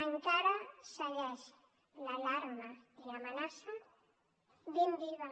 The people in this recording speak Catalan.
encara segueixen l’alarma i l’amenaça ben vives